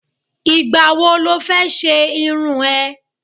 Ìgbà wo lọ fẹ́ ṣe irun ẹ?